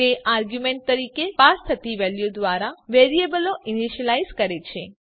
તે આરગ્યુંમેન્ટ તરીકે પાસ થતી વેલ્યુ દ્વારા વેરીયેબલો ઈનીશ્યલાઈઝ કરે છે